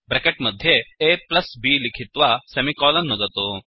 bracket मध्ये aब् लिखित्वा सेमिकोलन् नुदतु